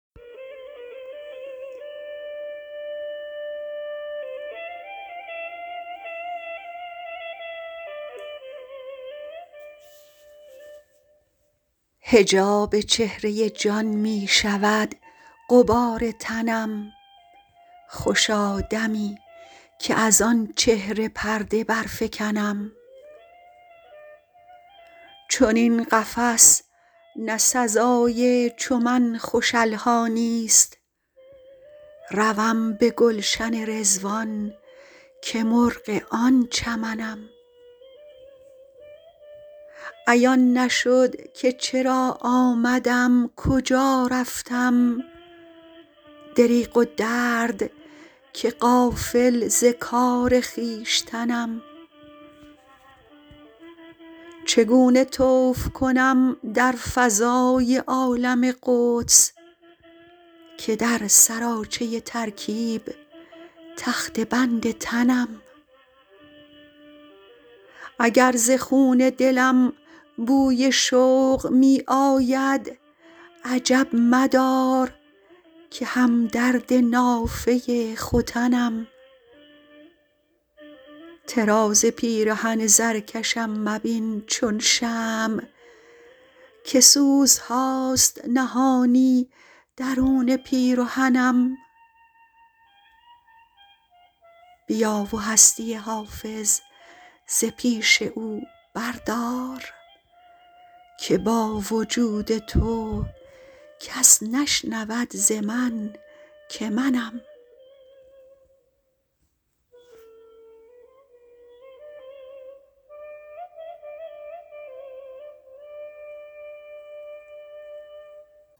حجاب چهره جان می شود غبار تنم خوشا دمی که از آن چهره پرده برفکنم چنین قفس نه سزای چو من خوش الحانی ست روم به گلشن رضوان که مرغ آن چمنم عیان نشد که چرا آمدم کجا رفتم دریغ و درد که غافل ز کار خویشتنم چگونه طوف کنم در فضای عالم قدس که در سراچه ترکیب تخته بند تنم اگر ز خون دلم بوی شوق می آید عجب مدار که هم درد نافه ختنم طراز پیرهن زرکشم مبین چون شمع که سوزهاست نهانی درون پیرهنم بیا و هستی حافظ ز پیش او بردار که با وجود تو کس نشنود ز من که منم